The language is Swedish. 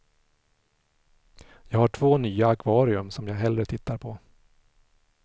Jag har två nya akvarium som jag hellre tittar på.